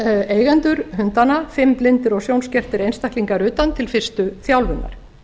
eigendur hundanna fimm blindir og sjónskertir einstaklingar utan til fyrstu þjálfunar